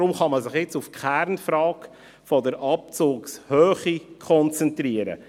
Deshalb kann man sich jetzt auf die Kernfrage der Abzugshöhe konzentrieren.